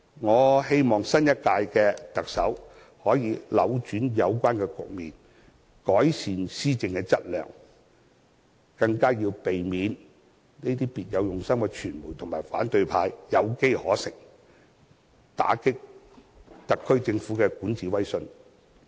我希望新一屆的特首可以扭轉有關局面，改善施政的質素，更要避免讓這些別有用心的傳媒和反對派有機可乘，打擊特區政府的管治威信。